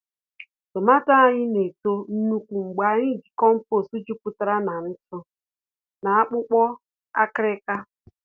Tomààto anyị na-eto nnukwu mgbe anyị ji compost jupụtara na ntụ na akpụkpọ akịrịka.